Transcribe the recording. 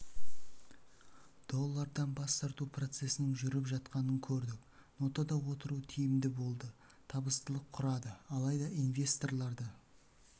доллордан бас тарту процесінің жүріп жатқанын көрдік нотада отыру тиімді болды табыстылық құрады алайда инвесторларды